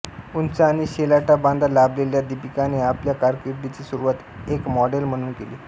उंच आणि शेलाटा बांधा लाभलेल्या दीपिकाने आपल्या कारकिर्दीची सुरुवात एक मॉडेल म्हणून केली